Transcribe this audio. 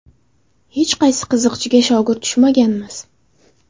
Hech qaysi qiziqchiga shogird tushmaganmiz.